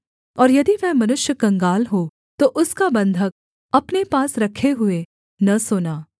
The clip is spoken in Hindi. और यदि वह मनुष्य कंगाल हो तो उसका बन्धक अपने पास रखे हुए न सोना